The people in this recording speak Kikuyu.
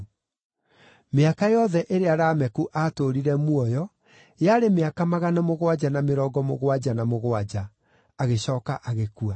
Mĩaka yothe ĩrĩa Lameku aatũũrire muoyo yarĩ mĩaka magana mũgwanja na mĩrongo mũgwanja na mũgwanja, agĩcooka agĩkua.